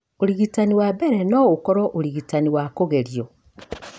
Ũrigitani wa mbere no ũkorũo ũrigitani wa kũgerio.